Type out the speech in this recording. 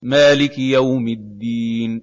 مَالِكِ يَوْمِ الدِّينِ